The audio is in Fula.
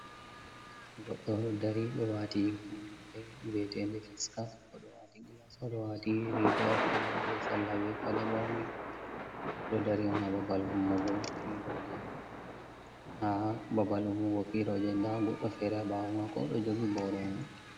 Goɗɗo ɗo dari do wati hufnere ve 'etede fisinkap, o ɗo wati gilas o do wati riga wa pewol be sallah be paɗe borne, odo dari on ha babal ummugo piro je nda goɗɗo fere haɓawo mako ɗo jogi boro.